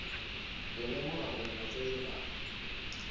go lemoga gore batswadi ga